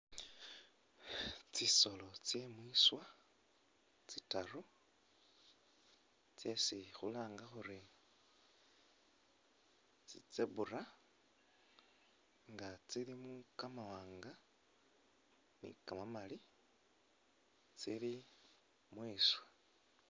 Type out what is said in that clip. Tsisolo tse’mwiswa tsitaru tsesi khulanga khuri tsi zebra nga tsilimo kamawanga ni kamamali tsili mweswa